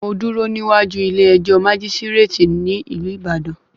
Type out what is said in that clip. Mo dúró níwájú ilé ẹjọ́ májísíréètì ìlú Ìbàdàn.